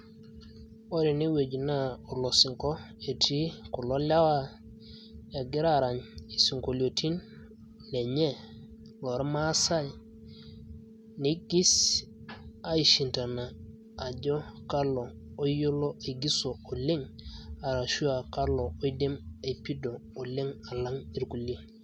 ore ene wueji naa olosinko etii kulo lewa, egira aarany isinkoliotin lenye, loormaasae nigis, aishindana ajo kalo, oyiolo aigiso oleng',ashu aa kalo oidim aipido oleng alang' irkulie.